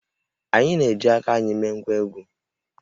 Anyị na-eji aka anyị mee ngwá egwú